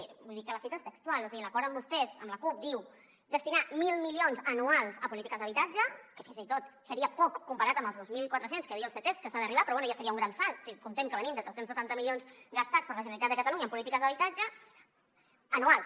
vull dir que la cita textual i l’acord amb vostès amb la cup diu destinar mil milions anuals a polítiques d’habitatge que fins i tot seria poc comparat amb els dos mil quatre cents a què diu el ctesc que s’ha d’arribar però bé ja seria un gran salt si comptem que venim de tres cents i setanta milions gastats per la generalitat de catalunya en polítiques d’habitatge anuals